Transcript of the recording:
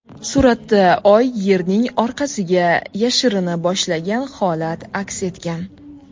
Suratda Oy Yerning orqasiga yashirina boshlagan holat aks etgan .